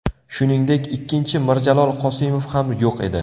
Shuningdek, ikkinchi Mirjalol Qosimov ham yo‘q edi.